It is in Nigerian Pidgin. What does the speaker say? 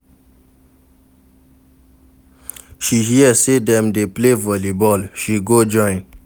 She hear sey dem dey play volleyball, she go join.